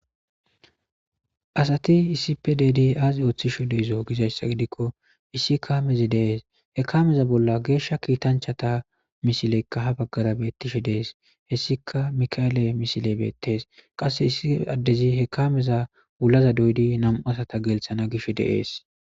Asati isipe ddi aazi ooththishu deizo gizayssa gidikko issi kaamezi dees hekameza bolla geeshsha kiitanchata misileykka ha baggara beettishe dees hessika mika7ele misile beettes qasse issi addezi hekameza wulaza doydi nam7u asata gelthana gish deees.